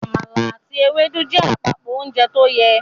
Àmàlà àti Ewédú jẹ́ àpapọ ounjẹ tóyẹ